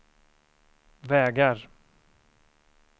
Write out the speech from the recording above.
vägar